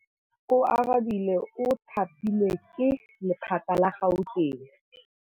Oarabile o thapilwe ke lephata la Gauteng.